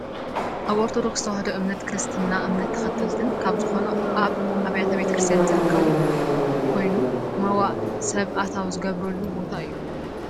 ኣብ ኦርቶዶክስ ተዋህዶ እምነት ክርስትና እምነት ተከተልትን ካብ ዝኮኑ ኣብ ኣብያተ ቤተ ክርስትያን ዝርከብ ኮይኑ መዋእ ሰብ ኣታው ዝገብሩሉ ቦታ እዩ